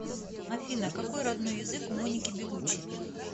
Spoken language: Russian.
афина какои роднои язык у моники белуччи